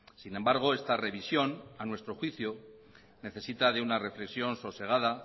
sin embargo esta revisión a nuestro juicio necesita de una reflexión sosegada